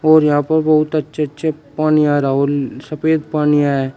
और यहां प बहुत अच्छे अच्छे पानी आ रहा है व ले सफेद पानी है।